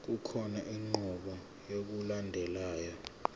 kukhona inqubo yokulandelayo